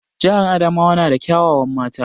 Jihar Adamawa na da kya wawan mata